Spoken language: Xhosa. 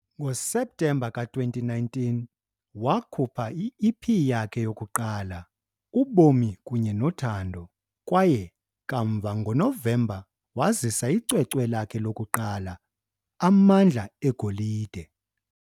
NgoSeptemba ka-2019, wakhupha i-EP yakhe yokuqala, uBomi kunye noThando kwaye kamva ngoNovemba wazisa icwecwe lakhe lokuqala, Amandla eGolide.